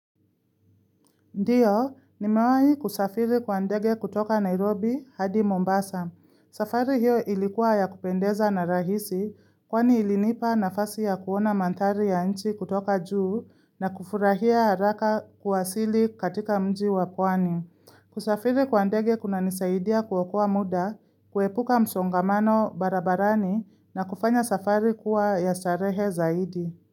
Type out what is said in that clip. Ndio, nimewahi kusafiri kwa ndege kutoka Nairobi hadi Mombasa. Safari hiyo ilikuwa ya kupendeza na rahisi kwani ilinipa nafasi ya kuona mandhari ya nchi kutoka juu na kufurahia haraka kuwasili katika mji wa pwani. Kusafiri kwa ndege kunanisaidia kuokoa muda, kuepuka msongamano barabarani na kufanya safari kuwa ya starehe zaidi.